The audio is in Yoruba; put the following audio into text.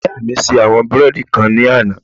Ìyá mi ṣe àwọn búrẹ́ẹ́dì kan ní àná